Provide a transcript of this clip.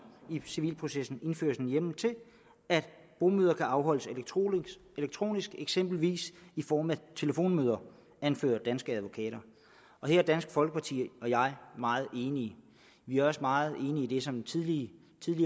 i civilprocessen indføres en hjemmel til at bomøder kan afholdes elektronisk elektronisk eksempelvis i form af telefonmøder anfører danske advokater og her er dansk folkeparti og jeg meget enige vi er også meget enige i det som tidligere